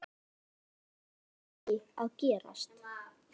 Þeir áttu ekki að gerast.